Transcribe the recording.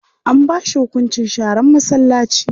An ba shi hunkunci sharar masallaci.